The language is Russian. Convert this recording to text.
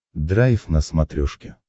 драйв на смотрешке